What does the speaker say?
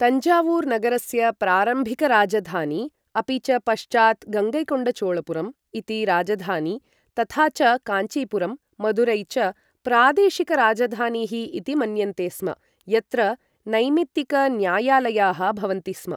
तञ्जावूर् नगरस्य प्रारम्भिकराजधानी, अपि च पश्चात् गङ्गैकोण्डचोळपुरम् इति राजधानी, तथा च काञ्चीपुरम्, मदुरै च प्रादेशिकराजधानीः इति मन्यन्ते स्म, यत्र नैमित्तिकन्यायालयाः भवन्ति स्म।